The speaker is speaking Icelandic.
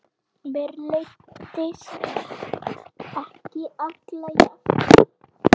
Mér leiðist ekki alla jafna.